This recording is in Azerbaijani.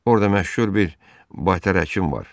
Orda məşhur bir baytar həkim var,